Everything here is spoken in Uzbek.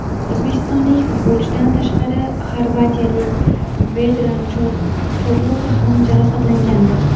O‘zbekistonlik futbolchidan tashqari xorvatiyalik Vedran Chorluka ham jarohatlangandi.